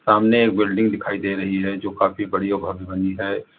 सामने एक बिल्डिंग दिखाई दे रही है जो काफी बड़ी भव्य बनी है।